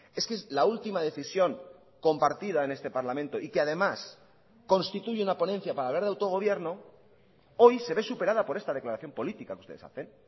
es que la última decisión compartida en este parlamento y que además constituye una ponencia para hablar de autogobierno hoy se ve superada por esta declaración política que ustedes hacen